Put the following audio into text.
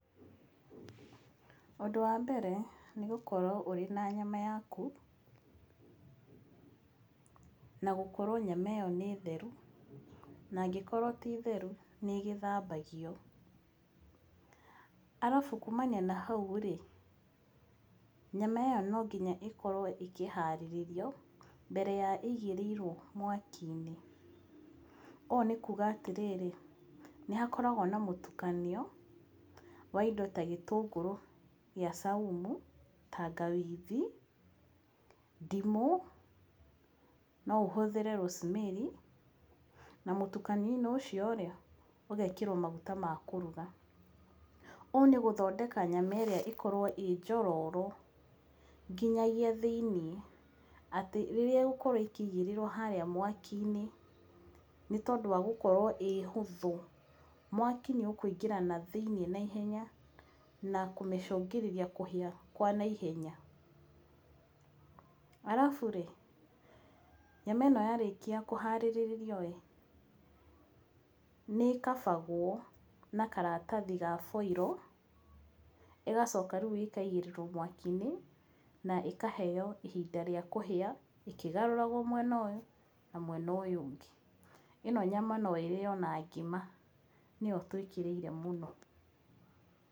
Ũndũ wa mbere nĩ gũkorwo ũrĩ na nyama yaku na gũkorwo nyama ĩyo nĩ theru, na angikorwo ti theru nĩ ĩgĩthambagio. arabu kuumania na hau rĩ, nyama ĩyo no nginya ĩkorwo ĩkĩhaarĩrĩrio mbere ya ĩigĩrĩirwo mawaki-inĩ. Ũguo nĩ kuuga atĩ nĩ hakoragwo na mũtukanio wa indo ta gĩtũngũrũ gĩa saumu, tangawithi, ndimũ, no ũhũthĩre rosemary na mũtukanio-inĩ ucio rĩ, ũgekĩrwo maguta ma kuruga. Ũũ nĩ gũthondeka nyama ĩrĩa ĩkorwo ĩĩ njororo nginyagia thĩinĩ, atĩ rĩrĩa ĩgũkorwo ĩkĩigĩrĩrwo harĩa mwaki-inĩ, nĩ tondũ wa gũkorwo ĩĩ hũthũ, mwaki nĩ ũkũingĩra na thĩinĩ naihenya na kũmĩcũngĩrĩria kũhĩa kwa naihenya. arabu rĩ, nyama ĩno yarĩkia kũhaarĩrĩrio ĩĩ nĩ cover gwo na karatathi ga foil, ĩgacoka rĩu ĩkaigĩrĩrwo mwaki-inĩ na ĩkaheo ihinda rĩa kũhĩa ĩkĩgarũragwo mwena ũyũ na mwena ũyũ ũngĩ. ĩno nyama no ĩrĩo na ngima nĩyo twĩkĩrĩire mũno.